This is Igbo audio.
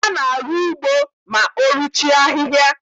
A na-arụ ugbo mao ruchie ahịhịa.